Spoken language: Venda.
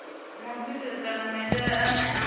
muofisiri kana maitele ane a